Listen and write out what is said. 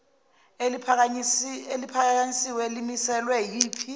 eliphakanyisiwe limiselwe yiphi